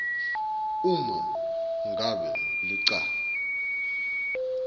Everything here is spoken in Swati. uma ngabe licala